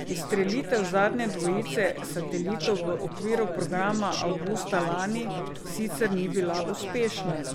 Izstrelitev zadnje dvojice satelitov v okviru programa avgusta lani sicer ni bila uspešna.